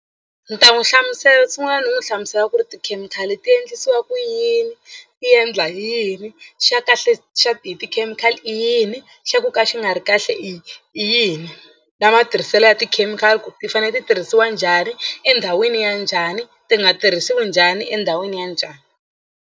Ni ta n'wi hlamusela sungula ni n'wi hlamusela ku ri tikhemikhali ti endlisiwa ku yini i endla yini xa kahle xa ti hi tikhemikhali i yini xa ku ka xi nga ri kahle i i yini na matirhiselo ya tikhemikhali ku ti fanele ti tirhisiwa njhani endhawini ya njhani ti nga tirhisiwi njhani endhawini ya njhani.